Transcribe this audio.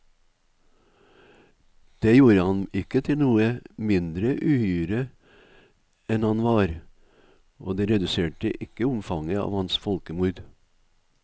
Det gjorde ham ikke til noe mindre uhyre enn han var, og det reduserte ikke omfanget av hans folkemord.